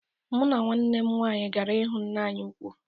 Mu na nwanne m nwaanyi gara hụ nne anyị ụkwụ